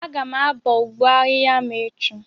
Aga m abọ ụgbọ ahịhịa m echi